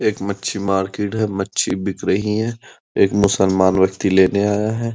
एक मच्छी मार्किट है। मच्छी बिक रही हैं। एक मुसलमान मच्छी लेने आया है।